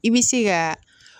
I bɛ se ka